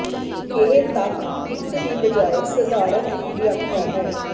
ਇਹ ਤੱਥ ਇੱਕ ਦੀ ਬਜਾਏ ਸਧਾਰਨ ਦੀ ਵਿਆਖਿਆ ਹੈ